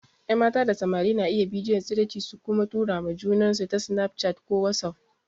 Yan mata da samari na iya bidiyon tsiraici su kuma tura ma junansu ta snaf chat ko wasuf.